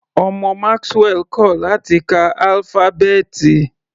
Ọmọ Maxwell kò láti ka álífábẹ́ẹ̀tì.